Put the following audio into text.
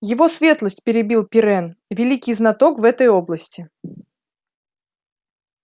его светлость перебил пиренн великий знаток в этой области